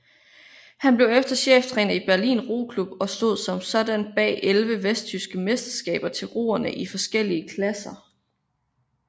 Han blev cheftræner i Berlin Roklub og stod som sådan bag elleve vesttyske mesterskaber til roere i forskellige klasser